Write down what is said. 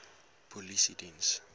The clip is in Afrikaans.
polisiediens